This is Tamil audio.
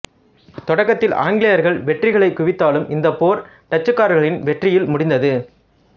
தொடக்கத்தில் ஆங்கிலேயர்கள் வெற்றிகளைக் குவித்தாலும் இந்தப் போர் டச்சுக்காரர்களின் வெற்றியில் முடிந்தது